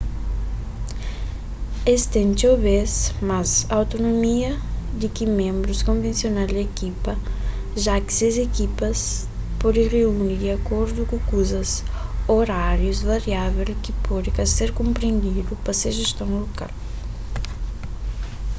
es ten txeu bês más autonomia di ki ménbrus konvensional di ekipa ja ki ses ekipas pode reuni di akordu ku kuzu orárius variável ki pode ka ser konprendidu pa se jeston lokal